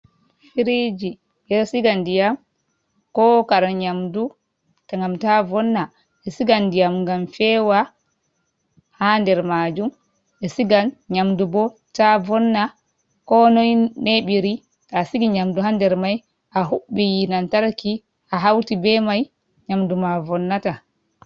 Firiji: Ɓeɗo siga ndiyam ko kare nyamdu ngam ta vonna, ɓe sigan ndiyam ngam fewa haa nder majun, ɓe sigan nyamdu bo ta vonna konoi neɓiri to asigi nyamdu haa nder mai ahuɓɓi yite nantarki ahauti be mai nyamdu ma vonnata.